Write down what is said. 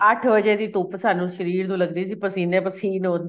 ਅੱਠ ਵਜੇ ਦੀ ਧੁਪ ਸਾਨੂੰ ਸ਼ਰੀਰ ਨੂੰ ਲੱਗਦੀ ਸੀ ਪਸੀਨੇ ਪਸੀਨ ਹੁੰਦੇ